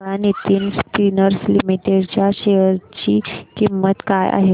सांगा Nitin spinners limited च्या share ची किंमत काय आहे